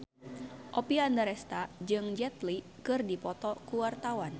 Oppie Andaresta jeung Jet Li keur dipoto ku wartawan